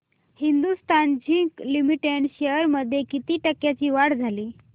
Hindustan zinc limited shares मध्ये किती टक्क्यांची वाढ झाली